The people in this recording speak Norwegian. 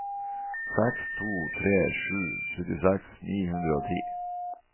seks to tre sju syttiseks ni hundre og ti